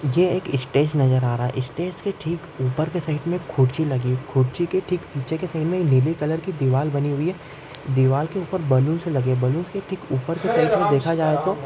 ये एक स्टेज नज़र आ रहा है इस स्टेज के ठीक ऊपर के साइड में कुर्सी लगी कुर्सी के ठीक पीछे के साइड में नीली कलर की दीवार बनी हुई है दीवार के उपर बैलूनस लगे बैलूनस के ठीक उपर की साइड में देखा जाये तो।